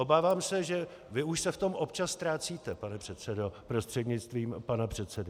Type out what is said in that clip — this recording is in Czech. Obávám se, že vy už se v tom občas ztrácíte, pane předsedo prostřednictvím pana předsedy.